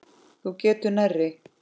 Þú getur nærri.